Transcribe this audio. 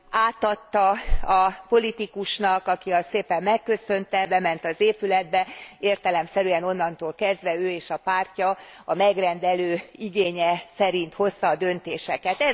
Átadta a politikusnak, aki azt szépen megköszönte, bement az épületbe, értelemszerűen onnantól kezdve ő és a pártja a megrendelő igénye szerint hozta a döntéseket.